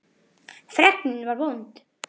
Fregnin var vond.